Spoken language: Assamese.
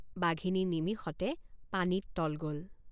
বাঘিনী নিমিষতে পানীত তল গল।